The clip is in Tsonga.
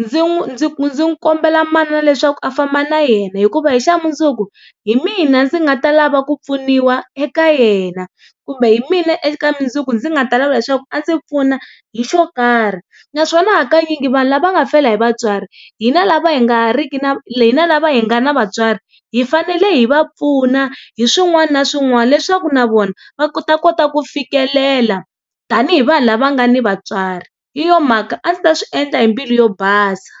ndzi ndzi ndzi kombela manana leswaku a famba na yena hikuva hi xa mundzuku hi mina ndzi nga ta lava ku pfuniwa eka yena kumbe hi mina eka mundzuku ndzi nga ta lava leswaku a ndzi pfuna hi xo karhi naswona hakanyingi vanhu lava nga fela hi vatswari hina lava hi nga riki na hina lava hi nga na vatswari hi fanele hi va pfuna hi swin'wana na swin'wana leswaku na vona va ta kota ku fikelela tanihi vanhu lava nga ni vatswari hi yo mhaka a ndzi ta swi endla hi mbilu yo basa.